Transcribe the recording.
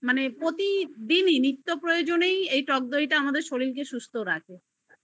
মানে প্রতিদিন এই নিত্য প্রয়োজনই এই টকদই আমাদের শরীর কে সুস্থ রাখে